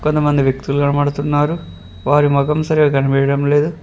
కొంతమంది వ్యక్తులు కనబడుతున్నారు వారి మొఖం సరిగా కనిపియ్యడం లేదు.